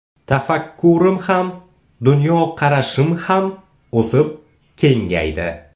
Tafakkurim ham, dunyoqarashim ham o‘sib, kengaydi.